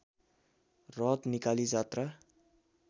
रथ निकाली जात्रा